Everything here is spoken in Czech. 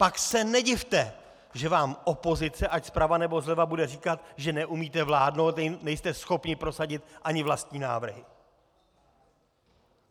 Pak se nedivte, že vám opozice, ať zprava, nebo zleva, bude říkat, že neumíte vládnout, nejste schopni prosadit ani vlastní návrhy.